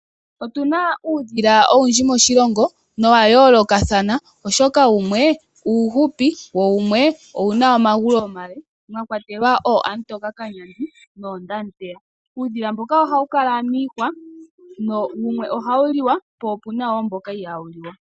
Otuna uudhila owundji moshilongo wa yoolokathana oshoka wumwe uufupi wo wumwe owu na omagulu omale mwa kwatelwa ooAmutika kanyandi noondemuteya. Uudhila mboka ohawu kala miihwa. Wumwe ohawu liwa po opu na mboka ihaa wu liwa.